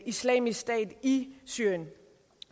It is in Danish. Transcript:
islamisk stat i syrien